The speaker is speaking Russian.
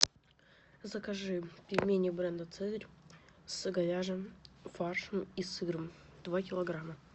закажи пельмени бренда цезарь с говяжьим фаршем и сыром два килограмма